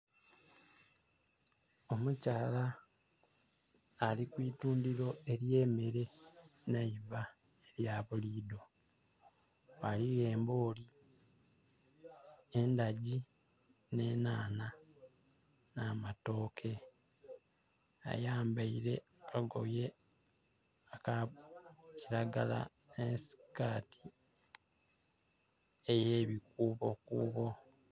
Omukyala ali ku itundhiro ery'emmere nh'eiva elya buliidho. Ghaligho embooli, endagi, nh'enhanha, n'amatooke. Ayambaile akagoye aka kilagala nh'esikaati ey'ebikuubokuubo.